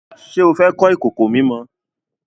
Ṣé o fẹ́ kọ́ ìkòkò mímọ?